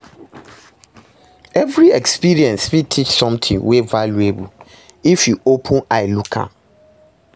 Evri experience fit teach somtin wey valuable if yu open eye look am